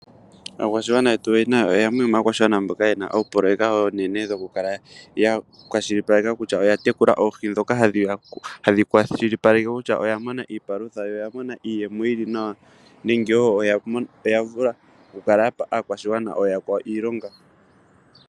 Aakwashigwana yetu yamwe yomaakwashigwana mboka yena oopoloyeka oonene dhoku kala ya kwashilipaleka kutya oya tekula oohi ndhoka hadhi kwashilipaleke kutya oya mona iipalutha noya mona iiyemo yili nawa nenge wo oya vula oku kala yapa aakwashigwana ooyakwawo iilonga.